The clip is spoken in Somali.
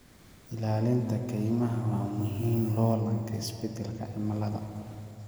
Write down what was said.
Ilaalinta kaymaha waa muhiim loolanka isbedelka cimilada.